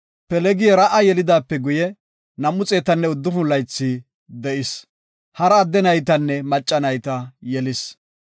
Pelegi Ra7a yelidaape guye 209 laythi de7is. Hara adde naytanne macca nayta yelis.